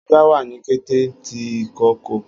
Aja wà ni kete ti ìkookò.